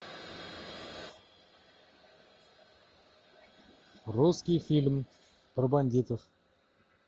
русский фильм про бандитов